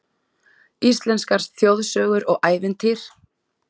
Íslenskar þjóðsögur og ævintýr